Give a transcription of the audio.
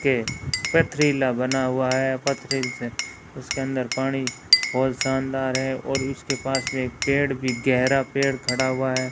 के पथरीला बना हुआ है पथरील से उसके अंदर पानी बहुत शानदार है और उसके पास में एक पेड़ भी गहरा पेड़ खड़ा हुआ है।